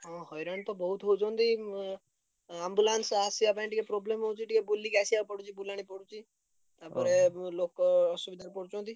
ହଁ ହଇରାଣ ତ ବହୁତ୍ ହଉଛନ୍ତି ଉଁ ambulance ଆସିଆ ପାଇଁ ଟିକେ problem ହଉଛି ଟିକେ ବୁଲିକି ଆସିଆକୁ ପଡୁଛି ବୁଲାଣି ପଡୁଛି। ତାପରେ ବି ଲୋକ ଅସୁବିଧା କରୁଛନ୍ତି।